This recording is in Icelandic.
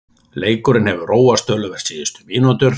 Leikurinn hefur róast töluvert síðustu mínútur.